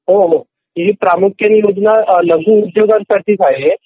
हो हो ही प्रामुख्याने योजना लघु उद्योगांसाठी आहे